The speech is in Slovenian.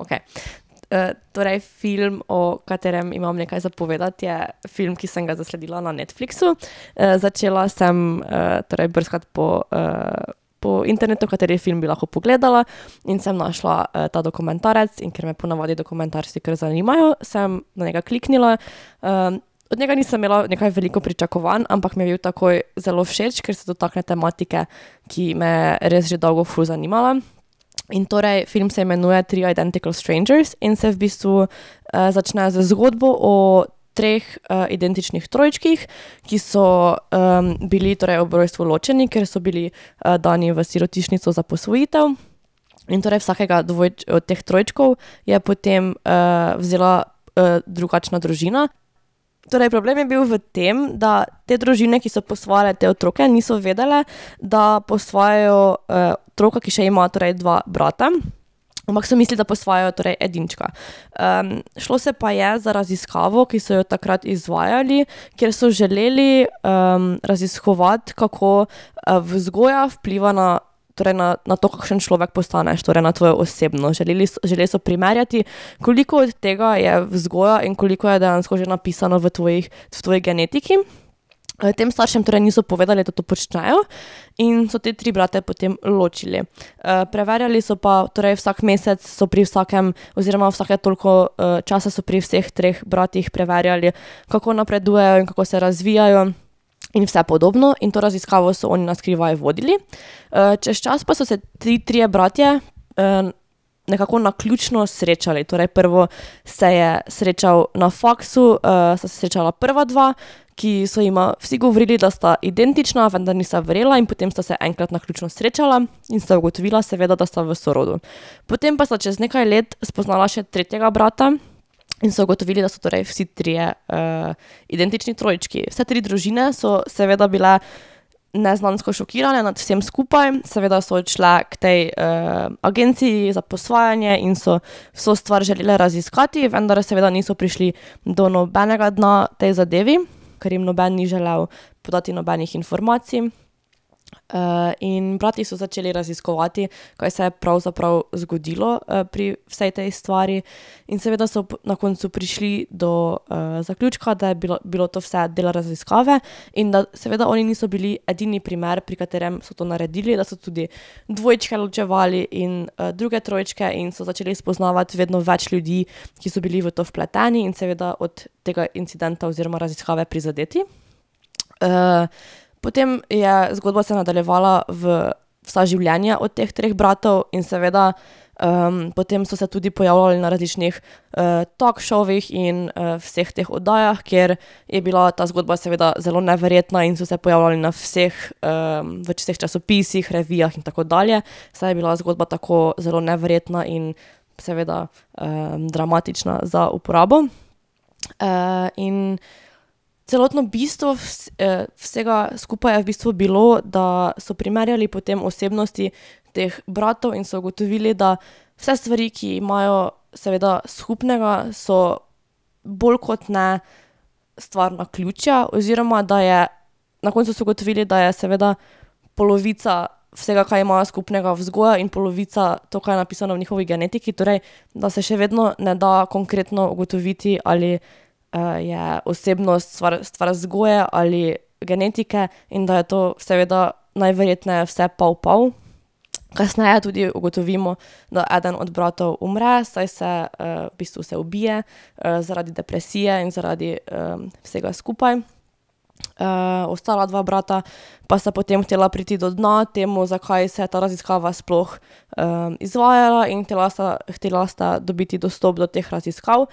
Okej, torej film, o katerem imam nekaj za povedati, je film, ki sem ga zasledila na Netflixu. začela sem, torej brskati po, po internetu, kateri film bi lahko pogledala, in sem našla, ta dokumentarec, in ker me ponavadi dokumentarci kar zanimajo, sem kliknila, od njega nisem imela nekaj veliko pričakovanj, ampak mi je bil takoj zelo všeč, ker so tudi take tematike, ki me res že dolgo ful zanimajo. In torej film se imenuje Three Identical Strangers in se v bistvu, začne z zgodbo o treh, identičnih trojčkih, ki so, bili torej ob rojstvu ločeni, ker so bili, dani v sirotišnico za posvojitev. In torej vsakega od teh trojčkov je potem, vzela, drugačna družina. Torej problem je bil v tem, da te družine, ki so posvajale te otroke, niso vedele, da posvajajo, otroka, ki še ima torej dva brata. Ampak so mislili, da posvajajo torej edinčka. šlo se pa je za raziskavo, ki so jo takrat izvajali, ker so želeli, raziskovati, kako, vzgoja vpliva na, torej na, na to, kakšen človek postaneš, torej na tvoj osebno, želeli, želeli so primerjati, koliko od tega je vzgoja in koliko je dejansko že napisano v tvojih, v tvoji genetiki. tem staršem torej niso povedali, da to počnejo, in so te tri brate potem ločili. preverjali so pa, torej vsak mesec so pri vsakem oziroma vsake toliko, časa so pri vseh treh bratih preverjali, kako napredujejo in kako se razvijajo. In vse podobno in to raziskavo so oni na skrivaj vodili. čez čas pa so se ti trije bratje, nekako naključno srečali, torej prvo se je srečal na faksu, sta se srečala prva dva, ki so jima vsi govorili, da sta identična, vendar nista verjela in potem sta se enkrat naključno srečala in sta ugotovila seveda, da sta v sorodu. Potem pa sta čez nekaj let spoznala še tretjega brata in so ugotovili, da so torej vsi trije, identični trojčki. Vse tri družine so seveda bile neznansko šokirane nad vsem skupaj, seveda so odšle k tej, agenciji za posvajanje in so, so stvar želele raziskati, vendar seveda niso prišli do nobenega dna tej zadevi, ker jim noben ni želel podati nobenih informacij. in brati so začeli raziskovati, kaj se je pravzaprav zgodilo, pri vsej tej stvari. In seveda so na koncu prišli do, zaključka, da je bilo, bilo to vse del raziskave, in da seveda oni niso bili edini primer, pri katerem so to naredili, da so tudi dvojčke ločevali in, druge trojčke in so začeli spoznavati vedno več ljudi, ki so bili v to vpleteni in seveda od tega incidenta oziroma raziskave prizadeti. potem je zgodba se nadaljevala v vsa življenja od teh treh bratov in seveda, potem so se tudi pojavljali na različnih, talk showih, in vseh teh oddajah, kjer je bila ta zgodba seveda zelo neverjetna in so se pojavljali na vseh, v vseh časopisih, revijah in tako dalje, saj je bila zgodba tako zelo neverjetna in seveda, dramatična za uporabo. in celotno bistvo vsega skupaj je v bistvu bilo, da so primerjali potem osebnosti teh bratov in so ugotovili, da vse stvari, ki imajo seveda skupnega, so bolj kot ne stvar naključja oziroma da je, na koncu so ugotovili, da je seveda polovica vsega, kaj imajo skupnega, vzgoja in polovica to, kaj je napisano v njihovi genetiki, torej da se še vedno ne da konkretno ugotoviti, ali, je osebnost stvar vzgoje ali genetike, in da je to seveda najverjetneje vse pol pol. Kasneje tudi ugotovimo, da eden od bratov umre, saj se, v bistvu se ubije, zaradi depresije in zaradi, vsega skupaj. ostala dva brata pa sta potem hotela priti do dna temu, zakaj se ta raziskava sploh, izvajala, in hotela sta, hotela sta dobiti dostop do teh raziskav,